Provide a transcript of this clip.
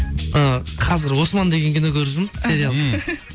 і қазір осман деген кино көріп жүрмін сериал